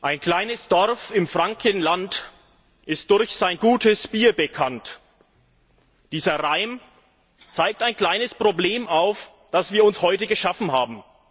Ein kleines Dorf im Frankenland ist durch sein gutes Bier bekannt! Dieser Reim zeigt ein kleines Problem auf, das wir uns heute geschaffen haben.